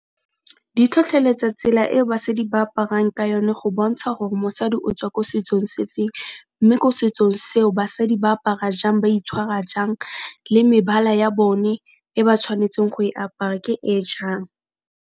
Di tlhotlheletsa tsela e basadi ba aparang ka yone go bontsha gore mosadi o tswa ko setsong se feng, mme ko setsong seo basadi ba apara jang, ba itshwara jang le mebala ya bone e ba tshwanetseng go e apara ke e jang.